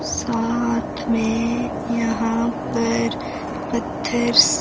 साथ में यहां पर पत्थरस--